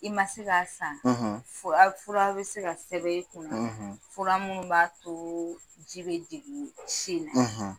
I man se ka san fura fura bɛ se ka sɛbɛn i kun na fura minnu b'a to ji bɛ jigin si na.